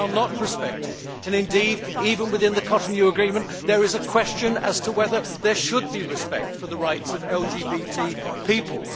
They are not respected and, indeed, even within the Cotonou Agreement there is a question as to whether there should be respect for the rights of LGBT people.